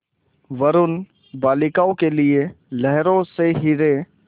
वरूण बालिकाओं के लिए लहरों से हीरे